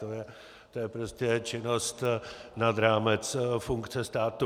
To je prostě činnost nad rámec funkce státu.